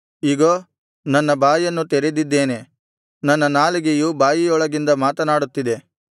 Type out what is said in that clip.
ಇಗೋ ನನ್ನ ಬಾಯನ್ನು ತೆರೆದಿದ್ದೇನೆ ನನ್ನ ನಾಲಿಗೆಯು ಬಾಯಿಯೊಳಗಿಂದ ಮಾತನಾಡುತ್ತಿದೆ